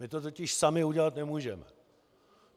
My to totiž sami udělat nemůžeme.